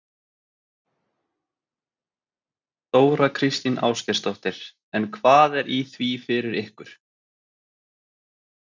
Þóra Kristín Ásgeirsdóttir: En hvað er í því fyrir ykkur?